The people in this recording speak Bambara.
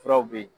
Furaw bɛ ye